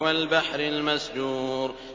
وَالْبَحْرِ الْمَسْجُورِ